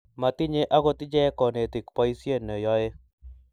Matinye akot ichek konetik boisie ne yoe